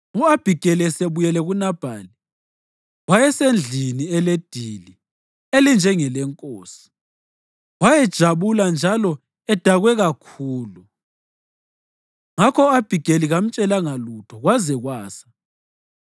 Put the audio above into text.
U-Abhigeli esebuyele kuNabhali, wayesendlini eledili elinjengelenkosi. Wayejabula njalo edakwe kakhulu. Ngakho u-Abhigeli kamtshelanga lutho kwaze kwasa.